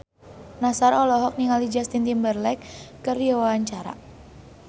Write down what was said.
Nassar olohok ningali Justin Timberlake keur diwawancara